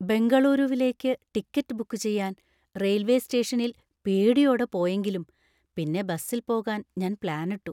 ബെംഗളൂരുവിലേക്ക് ticket book ചെയ്യാൻ railway സ്റ്റേഷനിൽ പേടിയോടെ പോയെങ്കിലും പിന്നെ ബസിൽ പോകാൻ ഞാൻ പ്ലാനിട്ടു.